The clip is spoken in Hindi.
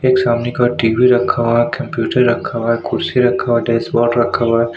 एक सामने का टीवी रखा हुआ है कंप्यूटर रखा हुआ है कुर्सी रखा हुआ है डेस्क्बोर्ड रखा हुआ है।